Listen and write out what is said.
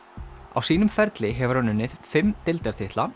á sínum ferli hefur hann unnið fimm